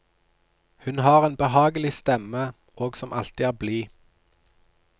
Hun har en behagelig stemme, og som alltid er blid.